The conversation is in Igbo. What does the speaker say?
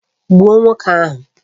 Gbuo nwoke ahu!